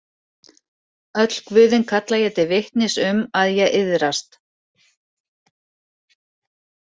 Öll guðin kalla ég til vitnis um að ég iðrast.